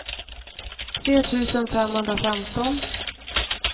tre tusen femhundrafemton